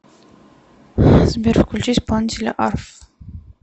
сбер включи исполнителя арф